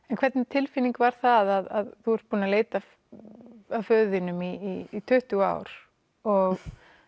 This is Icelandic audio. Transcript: en hvernig tilfinning var það að þú ert búin að leita að föður þínum í tuttugu ár og